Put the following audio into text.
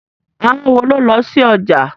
Àwọn wo ló lọ sí ọjà?